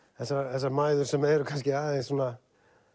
þessar mæður sem eru kannski aðeins svona